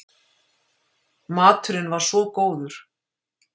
Maturinn var svo góður.